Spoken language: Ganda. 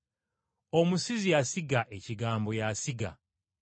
Omusizi asiga ekigambo y’asiga.